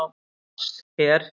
Lars hér!